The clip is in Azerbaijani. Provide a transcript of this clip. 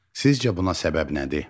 Sizcə buna səbəb nədir?